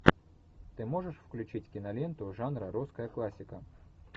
ты можешь включить киноленту жанра русская классика